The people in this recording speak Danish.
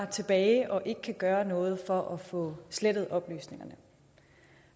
tilbage og ikke kan gøre noget for at få slettet oplysningerne